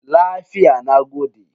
Lafiya, na gode.